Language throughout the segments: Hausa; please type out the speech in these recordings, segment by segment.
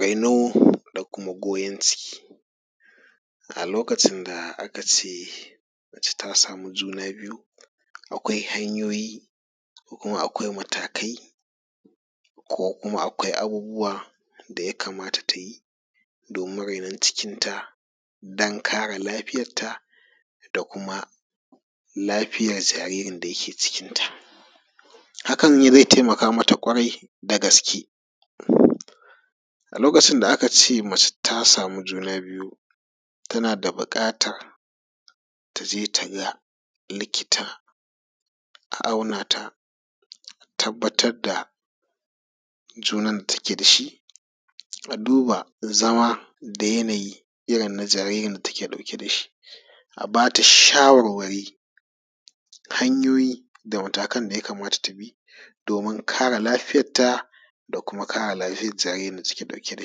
Raino da kuma goyon ciki. A lokacin da aka ce mace ta samu juna biyu akwai hanyoyi, ko kuma akwai matakai, ko kuma akwai abubuwa da ya kamata ta yi domin rainon cikinta don kare lafiyar ta da kuma lafiyar jaririn da yake jikinta. Hakan zai taimaka mata ƙwarai da gaske a lokacin da aka ce mace ta samu juna biyu, tana da buƙatar ta je ta ga likita, a auna ta, a tabbatar da junan da take da shi, a duba zama da yanayi irin na jaririn da take ɗauke da shi, a bata shawarwari, hanyoyi da matakan da ya kamata ta bi domin kare lafiyar ta, da kuma kare lafiyar jaririn da take ɗauke da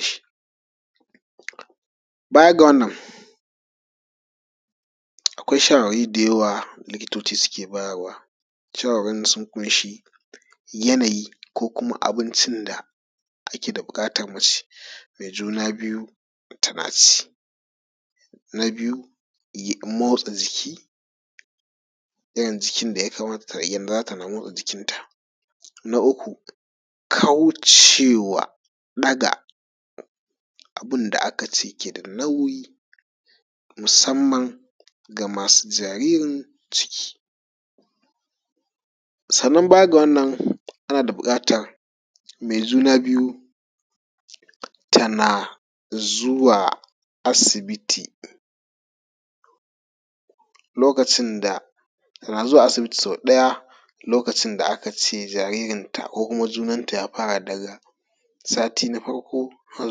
shi. Baya ga wannan, akwai shawarwari da yawa likitoci suke bayarwa, shawarwarin sun ƙunshi yanayi ko kuma abincin da ake da buƙatar mace mai juna biyu tana ci. Na biyu motsa jiki, irin jikin da ya kamata tana motsa jikin ta. Na uku kawo cewa ɗaga abun da aka ce yake da nauyi musamman ga masu jaririn ciki. Sannan baya ga wannan ana da buƙatan mai juna biyu tana zuwa asibiti lokacin da tana zuwa asibiti sau ɗaya lokacin da aka ce jaririnta, ko kuma junanta ya fara daga sati na farko har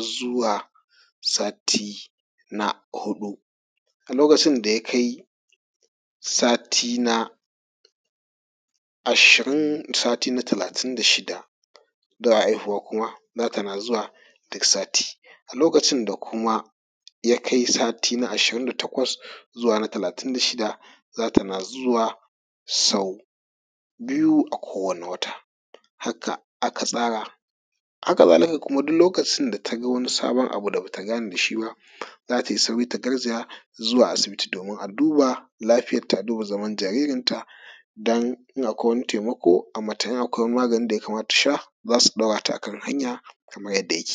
zuwa sati na huɗu. A lokacin da ya kai sati na ashirin, sati na talatin da shida da haihuwa kuma za ta na zuwa duk sati. A da lokacin da kuma ya kai sati na ashirin da takwas zuwa na talatin da shida za ta na zuwa sau biyu a kowane wata. Haka aka tsara, haka zalika duk lokacin da taga wani sabon abun da bata gane da shi ba za tai sauri ta garzaya zuwa asibiti domin a duba lafiyarta, a duba zaman jaririnta don in akwai wani taimako ai mata, in akwai maganin da ya kamata ta sha shima za su ɗaura ta a kan hanya kaman yanda yake.